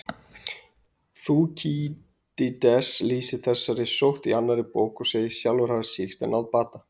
Þúkýdídes lýsir þessari sótt í annarri bók og segist sjálfur hafa sýkst en náð bata.